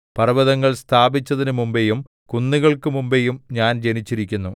പർവ്വതങ്ങൾ സ്ഥാപിച്ചതിനു മുമ്പെയും കുന്നുകൾക്കു മുമ്പെയും ഞാൻ ജനിച്ചിരിക്കുന്നു